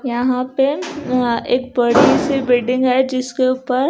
यहां पे वहां एक बड़ी सी बिडिंग है जिसके ऊपर--